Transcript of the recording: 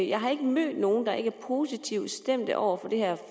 jeg har ikke mødt nogen der ikke er positivt stemt over for det her